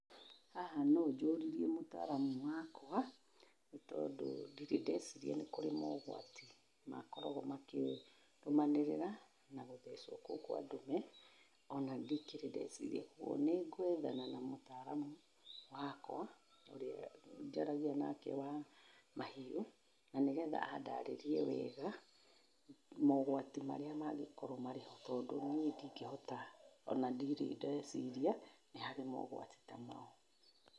Haha no njũririre mũtaaramu wakwa, nĩtondũ ndirĩ ndeciria nĩ kũrĩ mogwati, makoragũo makĩrũmanĩrĩra na gũthecwo kũu kwa ndume, ona ndikĩrĩ ndeciria ũguo. Nĩngwethana na mũtaaramu, wakwa, ũrĩa njaragia nake wa, mahiũ, na nĩgetha andarĩrĩe wega mogwati marĩa mangĩkorwo marĩ ho, tondũ niĩ ndingĩhota ona ndirĩ ndeciria, nĩ harĩ mogwati ta mau.